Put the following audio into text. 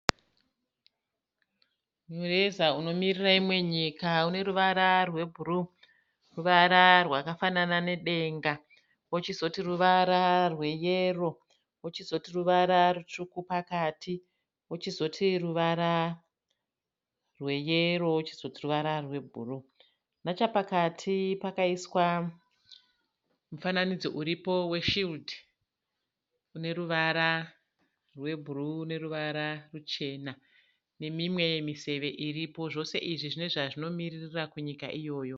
Mureza unomirira imwe nyika une ruvara rwebhuruu. Ruvara rwakafanana nedenga. Kochizoti ruvara rweyero. Kochizoti ruvara rutsvuku pakati. Kochizoti ruvara rweyero. Kochizoti ruvara rwebhuruu. Nachapakati pakaiswa mufananidzo uripo weshiridhi une ruvara rwebhuruu neruvara ruchena. Nemimwe miseve iripo. Zvose izvi zvine zvazvinomiririra kunyika iyoyo.